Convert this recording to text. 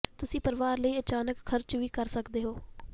ਤੁਸੀਂ ਪਰਿਵਾਰ ਲਈ ਅਚਾਨਕ ਖਰਚ ਵੀ ਕਰ ਸਕਦੇ ਹੋ